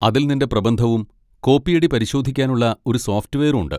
അതിൽ നിന്റെ പ്രബന്ധവും കോപ്പിയടിപരിശോധിക്കാനുള്ള ഒരു സോഫ്റ്റ്വെയറും ഉണ്ട്.